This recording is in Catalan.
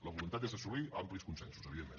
la voluntat és assolir amplis consensos evidentment